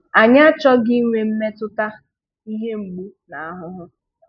Anyị achọghị inwe mmetụta ihe mgbu na ahụhụ.